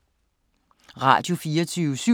Radio24syv